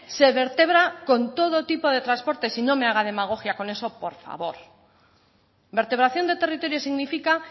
se vertebra con todo tipo de transporte y no me haga demagogia con eso por favor vertebración de territorio significa